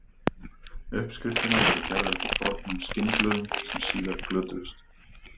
Uppskriftirnar voru gerðar eftir fornum skinnblöðum sem síðar glötuðust.